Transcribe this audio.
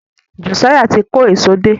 Josiah tí kò Èṣó dé